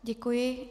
Děkuji.